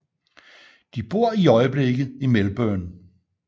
De bor i øjeblikket i Melbourne